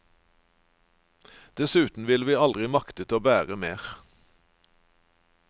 Dessuten ville vi aldri maktet å bære mer.